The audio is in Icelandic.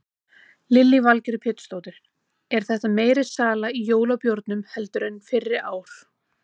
Lillý Valgerður Pétursdóttir: Er þetta meiri sala í jólabjórnum heldur en fyrri ár?